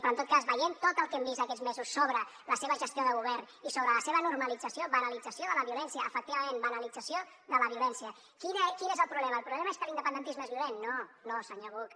però en tot cas veient tot el que hem vist aquests mesos sobre la seva gestió de govern i sobre la seva normalització banalització de la violència efectivament banalització de la violència quin és el problema el problema és que l’independentisme és violent no no senyor buch